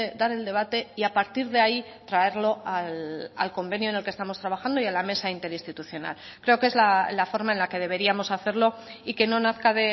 dar el debate y a partir de ahí traerlo al convenio en el que estamos trabajando y a la mesa interinstitucional creo que es la forma en la que deberíamos hacerlo y que no nazca